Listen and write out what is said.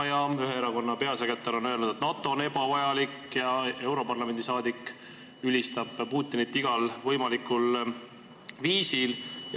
Ja ühe erakonna peasekretär on öelnud, et NATO on ebavajalik, ja üks europarlamendi saadik ülistab Putinit pea igal võimalikul viisil.